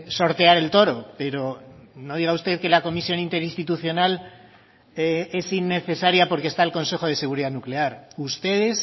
sortear el toro pero no diga usted que la comisión interinstitucional es innecesaria porque está el consejo de seguridad nuclear ustedes